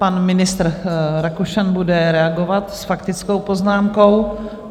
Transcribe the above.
Pan ministr Rakušan bude reagovat s faktickou poznámkou.